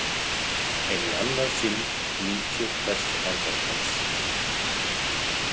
En í annað sinn nýt ég hvers andartaks.